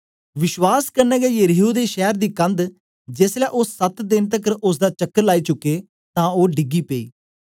विश्वास कन्ने गै यरीहो दे शैर दी कंद जेसलै ओ सत देन तकर ओसदा चक्कर लाइ चुके तां ओ डिगी पेई